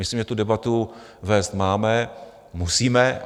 Myslím, že tu debatu vést máme, musíme.